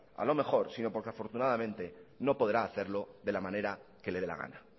a lo mejor sino porque afortunadamente no podrá hacerlo de la manera que le de la gana